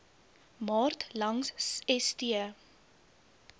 maart langs st